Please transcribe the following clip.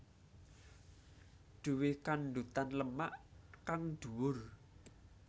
Duwe kandhutan lemak kang dhuwur